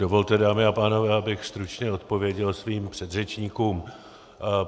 Dovolte, dámy a pánové, abych stručně odpověděl svým předřečníkům.